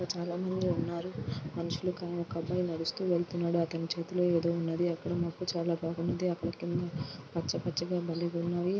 ఇక్కడ చాలా మంది ఉన్నారు. ఒక అబ్బాయి నడుస్తూ వెళ్తూ ఉన్నాడు. అతని చేతిలో ఏదో ఉన్నది. అక్కడ మాకు చాలా బాగుంది. పచ్చ పచ్చగా భలే ఉన్నాయి.